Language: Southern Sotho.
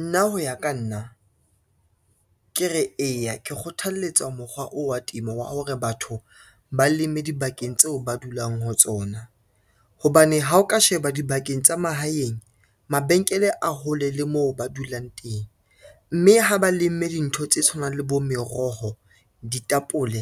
Nna ho ya ka nna, ke re eya ke kgothaletsa mokgwa oo wa temo wa hore batho ba leme dibakeng tseo ba dulang ho tsona, hobane ha o ka sheba dibakeng tsa mahaeng mabenkele a hole le moo ba dulang teng, mme ha ba lemme dintho tse tshwanang le bo meroho, ditapole,